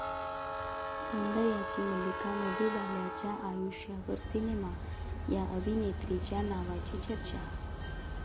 सौंदर्याची मल्लिका मधुबालाच्या आयुष्यावर सिनेमा, 'या' अभिनेत्रीच्या नावाची चर्चा